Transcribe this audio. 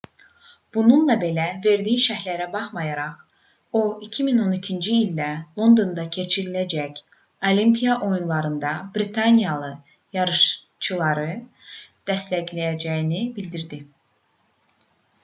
bununla belə verdiyi şərhlərə baxmayaraq o 2012-ci ildə londonda keçiriləcək olimpiya oyunlarında britaniyalı yarışçıları dəstəkləyəcəyini bildirdi